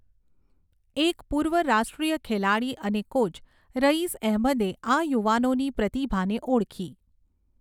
એક પૂર્વ રાષ્ટ્રીય ખેલાડી અને કોચ રઈસ એહમદે આ યુવાનોની પ્રતિભાને ઓળખી.